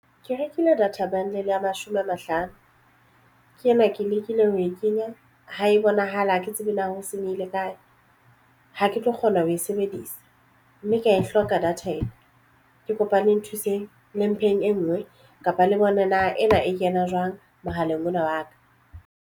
Ke rekile data bundle ya mashome a mahlano ke ena ke lekile ho e kenya ha e bonahale hake tsebe na ho senyehile kae ha ke tlo kgona ho e sebedisa mme ke ya e hloka data ena ke kopa le nthuseng le mpheng e nngwe kapa le bone na ena e kena jwang mohaleng ona wa ka.